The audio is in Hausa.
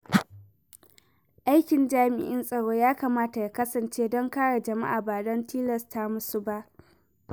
Aikin jami'an tsaro ya kamata ya kasance don kare jama’a, ba don tilasta musu ba.